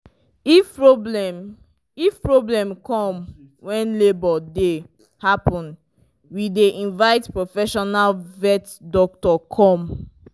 if problem if problem come when labour dey happen we dey invite profesional vet doctor come